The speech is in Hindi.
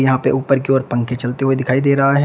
यहाँ पे ऊपर की ओर पंखे चलते हुए दिखाई दे रहा है।